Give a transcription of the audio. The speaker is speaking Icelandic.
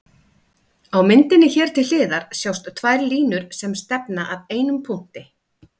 Á myndinni hér til hliðar sjást tvær línur sem stefna að einum punkti.